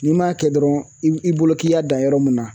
N'i m'a kɛ dɔrɔn i i bolo k'i y'a dan yɔrɔ mun na